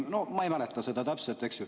No ma ei mäleta seda täpselt, eks ju.